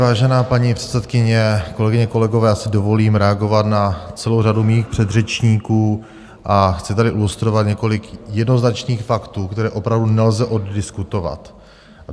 Vážená paní předsedkyně, kolegyně, kolegové, já si dovolím reagovat na celou řadu mých předřečníků a chci tady ilustrovat několik jednoznačných faktů, které opravdu nelze oddiskutovat.